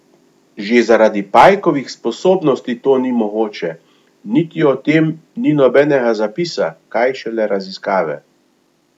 Že zaradi pajkovih sposobnosti to ni mogoče, niti o tem ni nobenega zapisa, kaj šele raziskave.